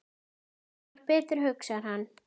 Þetta var betra, hugsar hann.